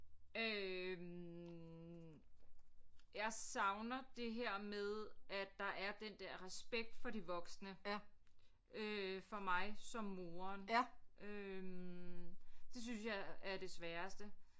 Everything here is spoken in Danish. Øh jeg savner det her med at der er den der respekt for de voksne øh for mig som moren øh det synes jeg er det sværeste